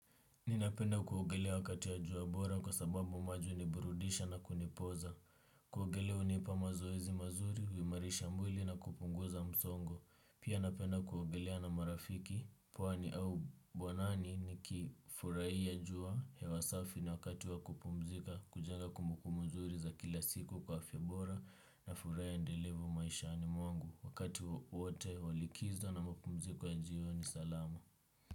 Ninapenda kuogelea wakati ya jua bora kwa sababu maji uni burudisha na kunipoza. Kuogelea unipa mazoezi mazuri, huimarisha mwili na kupunguza msongo. Pia napenda kuogelea na marafiki, pwani au bwanani ni kifurai ya jua, hewa safi na wakati wa kupumzika, kujenga kumbukumbu mzuri za kila siku kwa afya bora na furaha endelevu maishani mwangu wakati wote wa likizo na mpumzika ya jioni salama.